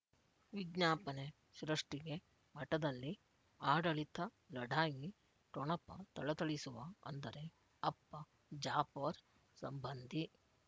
ವಿಜ್ಞಾಪನೆ ಸೃಷ್ಟಿಗೆ ಮಠದಲ್ಲಿ ಆಡಳಿತ ಲಢಾಯಿ ಠೊಣಪ ಥಳಥಳಿಸುವ ಅಂದರೆ ಅಪ್ಪ ಜಾಫರ್ ಸಂಬಂಧಿ